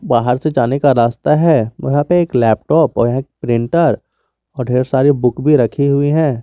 बाहर से जाने का रास्ता है वहां पे एक लैपटॉप और एक प्रिंटर ढेर सारी बुक भी रखी हुई है।